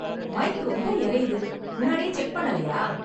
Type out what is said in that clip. Mic ரொம்ப எரையுது. முன்னாடியே செக் பண்ணலையா?